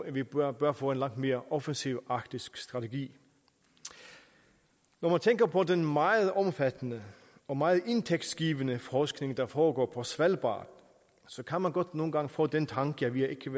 at vi bør bør få en langt mere offensiv arktisk strategi når man tænker på den meget omfattende og meget indtægtsgivende forskning der foregår på svalbard så kan man godt nogle gange få den tanke at vi ikke